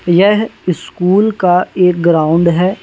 यह स्कूल का एक ग्राउंड है।